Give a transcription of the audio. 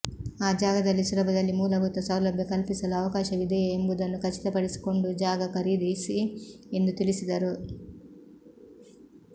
ಆ ಜಾಗದಲ್ಲಿ ಸುಲಭದಲ್ಲಿ ಮೂಲಭೂತ ಸೌಲಭ್ಯ ಕಲ್ಪಿಸಲು ಅವಕಾಶವಿದೆಯೇ ಎಂಬುದನ್ನು ಖಚಿತಪಡಿಸಿಕೊಂಡು ಜಾಗ ಖರೀದಿಸಿ ಎಂದು ತಿಳಿಸಿದರು